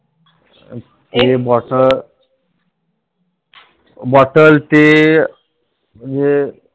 हे Bottle bottle ते ये